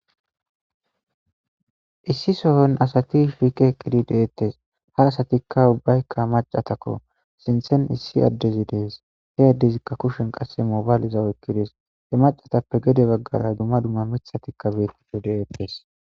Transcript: issi sohon asati fiikeeqqidi deettes ha asatikka ubbaykka macatakko sinthen issi addezi dees he addezikka kushen qasse mobayliza wokkides he macatappe gede baggara duma dumma mithatikka beettiho deettes